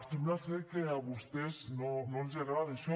sembla que a vostès no els agrada això